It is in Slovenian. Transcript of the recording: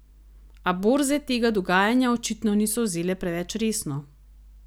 A borze tega dogajanja očitno niso vzele preveč resno.